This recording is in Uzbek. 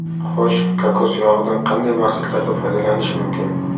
Xo‘sh, kokos yog‘idan qanday maqsadlarda foydalanish mumkin?